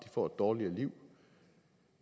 får et dårligere liv